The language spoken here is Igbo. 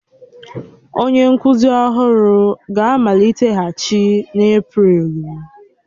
Onye nkuzi ọhụrụ ga-amaliteghachi n'Eprelu